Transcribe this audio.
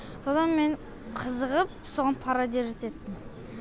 содан мен қызығып соған пародировать еттім